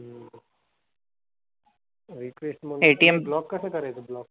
Request मग block कसं करायचं? block?